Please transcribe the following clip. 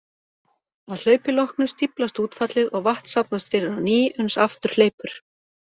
Að hlaupi loknu stíflast útfallið og vatn safnast fyrir á ný uns aftur hleypur.